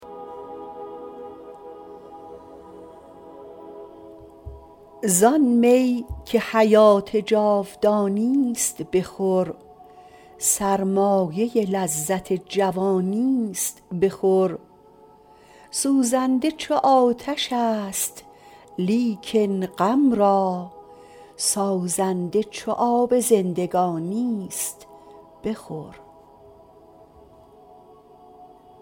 زآن می که حیات جاودانیست بخور سرمایه لذت جوانی است بخور سوزنده چو آتش است لیکن غم را سازنده چو آب زندگانی است بخور